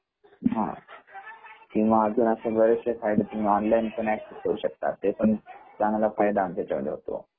हा किंवा ऑनलाईनआ एकटीवेट करू शकता , ते पण चांगला फायदा आमच्या इच्यामध्ये होतो